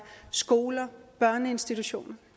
skoler og børneinstitutioner